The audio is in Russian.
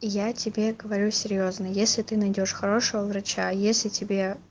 я тебе говорю серьёзно если ты найдёшь хорошего врача если тебе